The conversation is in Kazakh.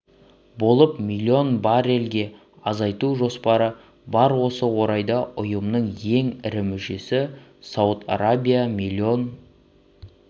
болып миллион баррельге азайту жоспары бар осы орайда ұйымның ең ірі мүшесі сауд арабиясы миллион